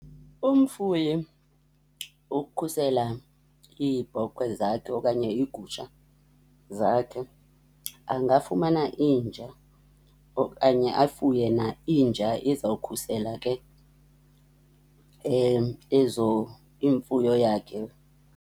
Umfuyi ukhusela iibhokhwe zakhe okanye iigusha zakhe angafumana inja okanye afuye na inja ezawukhusela ke ezo, imfuyo yakhe.